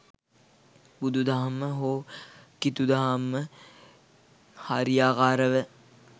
බුදු දහම හෝ කිතු දහම හරියාකාරව